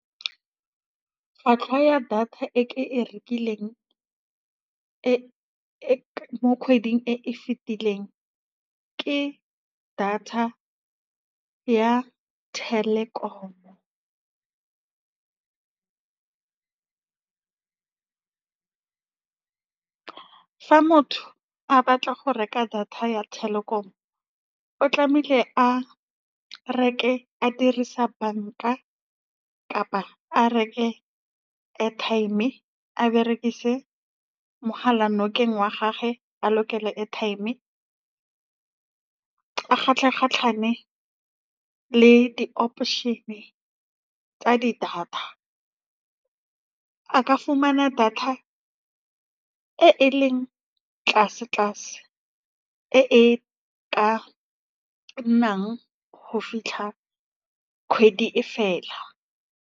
Tlhwatlhwa ya data e ke e rekileng e e mo kgweding e e fetileng, ke data ya Telkom-o. Fa motho a batla go reka data ya Telkom-o, o tlamehile a reke, a dirisa banka kapa a reke airtime a berekise mogala nokeng wa gagwe, a lokele airtime a kgatlhe-kgatlane le di-operation-e tsa di-data, a ka fumana data e e leng tlase-tlase e e ka nnang go fitlha kgwedi e fela.